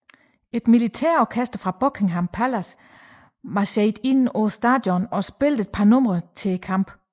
Et militærorkester fra Buckingham Pallace marcherede ind på stadionet og spillede et par numre op til kampen